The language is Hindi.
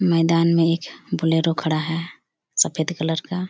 मैदान में एक बोलेरो खड़ा हैसफेद कलर का--